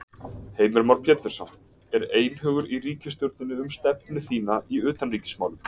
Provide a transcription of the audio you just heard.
Heimir Már Pétursson: Er einhugur í ríkisstjórninni um stefnu þína í utanríkismálum?